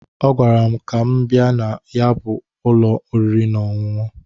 Ọgwara m ka m bịa na ya bụ ụlọ ọriri na ọṅụṅụ.